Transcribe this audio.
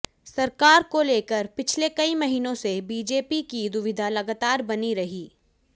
सरकार को लेकर पिछले कई महीनों से बीजेपी की दुविधा लगातार बनी रही